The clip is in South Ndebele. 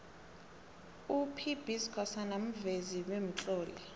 up b skhosana muvezi bemtloli